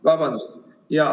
Vabandust!